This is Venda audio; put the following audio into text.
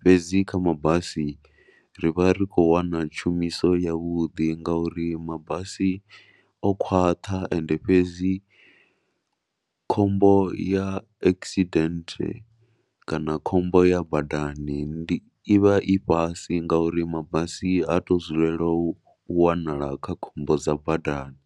Fhedzi kha mabasi ri vha ri khou wana tshumiso yavhuḓi ngauri mabasi o khwaṱha ende fhedzi khombo ya accident kana khombo ya badani ndi, i vha i fhasi ngauri mabasi ha tou dzulela u wanala kha khombo dza badani.